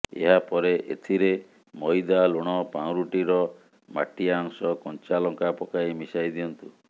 ଏହାପରେ ଏଥିରେ ମଇଦା ଲୁଣ ପାଉଁରୁଟିର ମାଟିଆ ଅଂଶ କଞ୍ଚା ଲଙ୍କା ପକାଇ ମିଶାଇ ଦିଅନ୍ତୁ